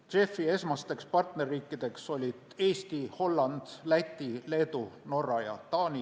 JEF-i esmased partnerriigid olid Eesti, Holland, Läti, Leedu, Norra ja Taani.